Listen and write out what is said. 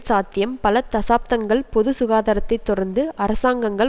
சாத்தியம் பல தசாப்தங்கள் பொது சுகாதாரத்தை தொடர்ந்து அரசாங்கங்கள்